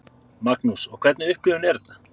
Magnús: Og hvernig upplifun er þetta?